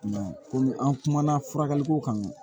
I m'a ye komi an kumana furakɛliko kan